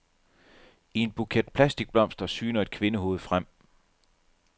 I en buket plastikblomster syner et kvindehoved frem.